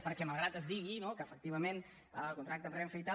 perquè malgrat que es digui que efectivament el contracte amb renfe i tal